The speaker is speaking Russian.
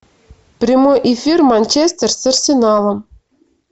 прямой эфир манчестер с арсеналом